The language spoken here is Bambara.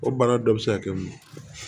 O bana dɔ bɛ se ka kɛ mun ye